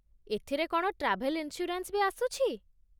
ଏଥିରେ କ'ଣ travel insurance ବି ଆସୁଛି?